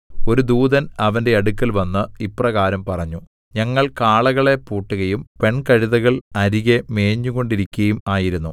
ഒരു ദൂതൻ അവന്റെ അടുക്കൽവന്ന് ഇപ്രകാരം പറഞ്ഞു ഞങ്ങൾ കാളകളെ പൂട്ടുകയും പെൺകഴുതകൾ അരികെ മേഞ്ഞുകൊണ്ടിരിക്കയും ആയിരുന്നു